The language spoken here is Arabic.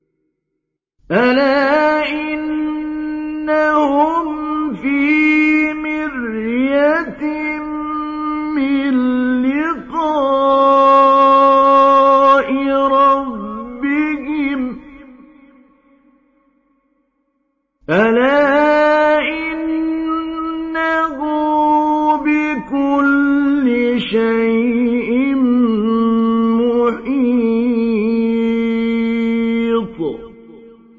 أَلَا إِنَّهُمْ فِي مِرْيَةٍ مِّن لِّقَاءِ رَبِّهِمْ ۗ أَلَا إِنَّهُ بِكُلِّ شَيْءٍ مُّحِيطٌ